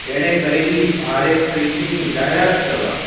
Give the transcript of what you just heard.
એને કરેલી ભારે ખરીધી ની જાહેરત કરવા